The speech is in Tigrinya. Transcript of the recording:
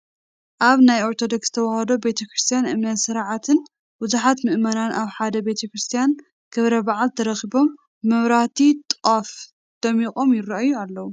ኣብ ናይ ኦርቶዶክስ ተዋህዶ ቤተ ክርስትያን እምነትን ስርዓትን ብዙሓት ምእመናን ኣብ ሓደ ናይ ቤተ ክርስትያን ክብረ በዓል ተረኺቦም ብመብራህቲ ጧፍ ደሚቆም ይራኣዩ ኣለው፡፡